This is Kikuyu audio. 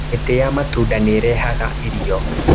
Mĩtĩ ya matunda nĩrehaga irio.